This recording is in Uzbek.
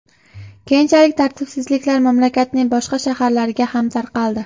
Keyinchalik tartibsizliklar mamlakatning boshqa shaharlariga ham tarqaldi.